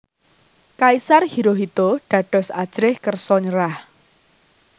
Kaisar Hirohito dados ajrih kersa nyerah